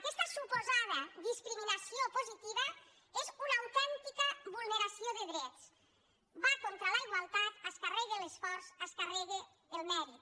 aquesta suposada discriminació positiva és una autèntica vulneració de drets va contra la igualtat es carrega l’esforç es carrega el mèrit